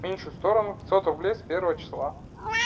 меньшую сторону пятьсот рублей с первого числа